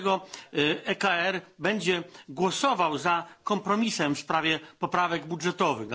dlatego ECR będzie głosował za kompromisem w sprawie poprawek budżetowych.